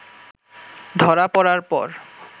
ধরা পরার পর